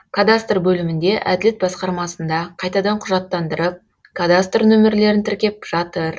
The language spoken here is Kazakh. кадастр бөлімінде әділет басқармасында қайтадан құжаттандырып кадастр нөмірлерін тіркеп жатыр